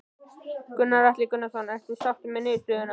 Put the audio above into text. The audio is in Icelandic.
Gunnar Atli Gunnarsson: Ertu sáttur með niðurstöðuna?